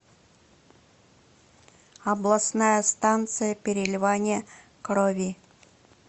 областная станция переливания крови